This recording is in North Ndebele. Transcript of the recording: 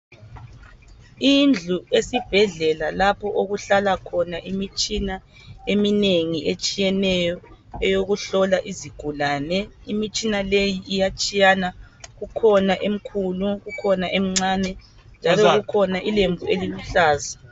Indlu esibhedlela lapho okuhlala khona imitshina eminengi etshiyeneyo eyokuhlola izigulane. Imitshina leyi iyatshiyana kukhona emkhulu kukhona emcinyane, njalo kukhona ilembu eliluhlaza.